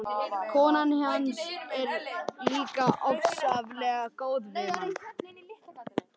Konan hans er líka ofsalega góð við mann.